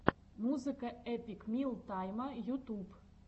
музыка эпик мил тайма ютуб